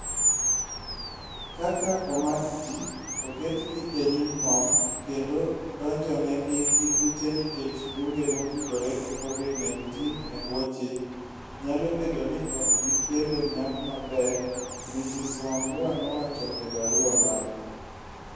Kaka omak ji, oketgi e nyim kom, kendo donjonegi gi buche nikech buge motudore gi Covid-19 e bwo chik, nyalo bedo ni ok bi kelo nyak maber, Ms Wambua nowacho e barua mare.